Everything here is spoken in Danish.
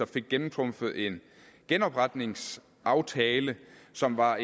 fik gennemtrumfet en genopretningsaftale som var